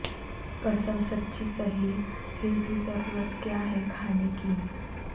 قسم سچی سہی پھر بھی ضرورت کیا ہے کھانے کی